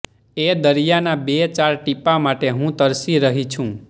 એ દરિયાના બે ચાર ટીપા માટે હું તરસી રહી છું